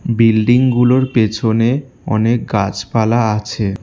বিল্ডিংগুলোর পেছনে অনেক গাছপালা আছে।